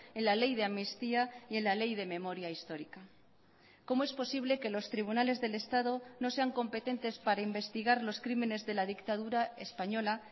en la ley de amnistía y en la ley de memoria histórica cómo es posible que los tribunales del estado no sean competentes para investigar los crímenes de la dictadura española